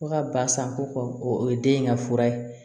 Fo ka ba san ko kɔ o ye den in ka fura ye